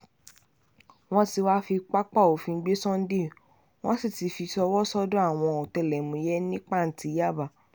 wọ́n ti wáá fi pápá òfin gbé sunday wọ́n sì ti fi í ṣọwọ́ sọ́dọ̀ àwọn ọ̀tẹlẹ̀múyẹ́ ní pàǹtí yaba